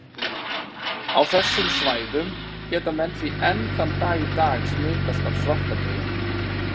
Á þessum svæðum geta menn því enn þann dag í dag smitast af svartadauða.